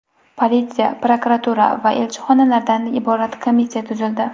Politsiya, prokuratura va elchixonalardan iborat komissiya tuzildi.